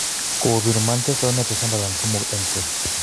Kobir Manchester United Sunderland 3-0.